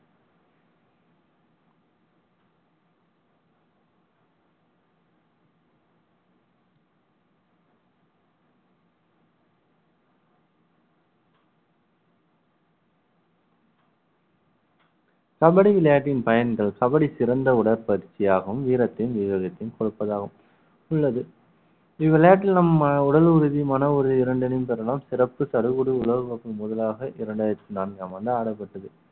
கபடி விளையாட்டின் பயன்கள் கபடி சிறந்த உடற்பயிற்சியாகவும் வீரத்தையும் விவேகத்தையும் கொடுப்பதாகும் உள்ளது இவ்விளையாட்டில் நம் உடல் ரீதியான ஒரு இரண்டு அணியும் பெறலாம் சிறப்பு சடுகுடு உலகக்கோப்பை முதலாக இரண்டாயிரத்தி நான்காம் ஆண்டு ஆடப்பட்டது